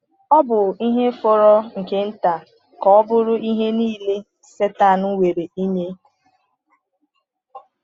Ọ bụ ihe fọrọ nke nta ka ọ bụrụ ihe niile Sátán nwere ịnye.